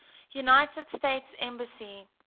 united states embassy